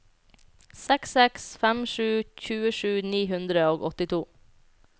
seks seks fem sju tjuesju ni hundre og åttito